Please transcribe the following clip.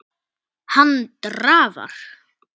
Hann drafar.